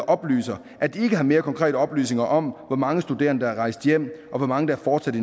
oplyser at de ikke har mere konkrete oplysninger om hvor mange studerende der er rejst hjem og hvor mange der fortsat